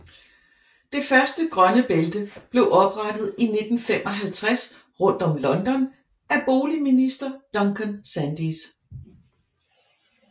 Det første grønne bælte blev oprettet i 1955 rundt om London af boligminister Duncan Sandys